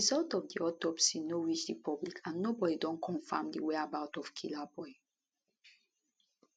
result of di autopsy no reach di public and nobody don confam di whereabout of killaboi